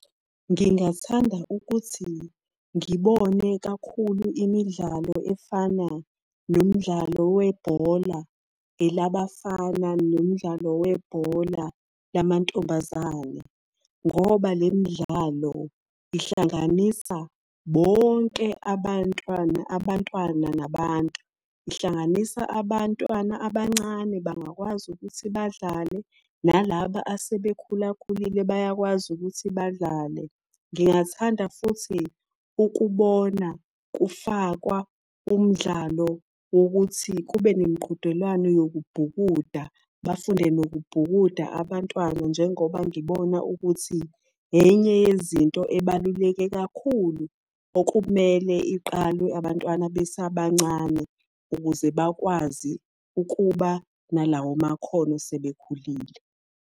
Ngingathanda ukuthi ngibone kakhulu imidlalo efana nomdlalo webhola, elabafana nomdlalo webhola lamantombazane. Ngoba le midlalo ihlanganisa bonke abantwana, abantwana nabantu. Ihlanganisa abantwana abancane bangakwazi ukuthi badlale, nalaba asebekhulakhulile bayakwazi ukuthi badlale. Ngingathanda futhi ukubona kufakwa umdlalo wokuthi kube nemiqhudelwano yokubhukuda, bafunde nokubhukuda abantwana njengoba ngibona ukuthi enye yezinto ebaluleke kakhulu okumele iqalwe abantwana besabancane ukuze bakwazi ukuba nalawo makhono sebekhulile.